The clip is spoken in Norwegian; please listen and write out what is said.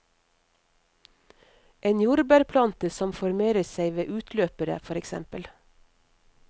En jordbærplante som formerer seg ved utløpere, for eksempel.